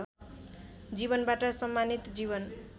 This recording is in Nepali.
जीवनबाट सम्मानित जीवन